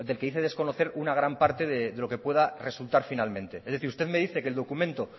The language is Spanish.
que dice desconocer una gran parte de lo que pueda resultar finalmente es decir usted me dice que el documento